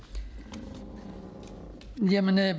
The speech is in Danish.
på vegne af